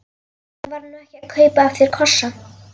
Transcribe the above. Ég var nú ekki að kaupa af þér kossa.